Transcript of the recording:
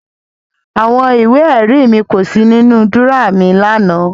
Àwọn ìwé-ẹ̀rí mi kò sí nínú dúrọ́à mi lánàá.